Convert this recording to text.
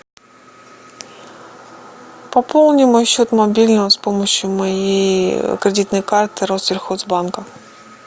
пополни мой счет мобильного с помощью моей кредитной карты россельхоз банка